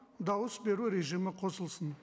дауыс беру режимі қосылсын